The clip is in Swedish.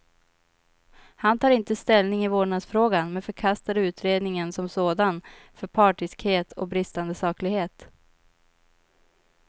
Han tar inte ställning i vårdnadsfrågan, men förkastar utredningen som sådan för partiskhet och bristande saklighet.